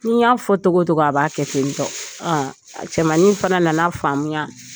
Ni n y'a fɔ togo togo a b'a kɛ tentɔ. a cɛmannin fana nana faamuya